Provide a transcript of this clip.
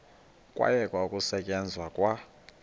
kwayekwa ukusetyenzwa kwa